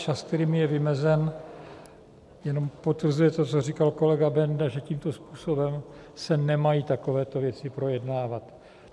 Čas, který mi je vymezen, jenom potvrzuje to, co říkal kolega Benda, že tímto způsobem se nemají takovéto věci projednávat.